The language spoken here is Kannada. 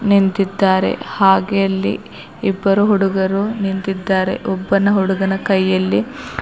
ನಿಂತಿದ್ದಾರೆ ಹಾಗೆ ಅಲ್ಲಿ ಇಬ್ಬರು ಹುಡುಗರು ನಿಂತಿದ್ದಾರೆ ಒಬ್ಬನ ಹುಡುಗನ ಕೈಯಲ್ಲಿ--